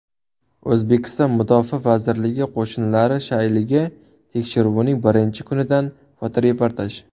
O‘zbekiston Mudofaa vazirligi qo‘shinlari shayligi tekshiruvining birinchi kunidan fotoreportaj.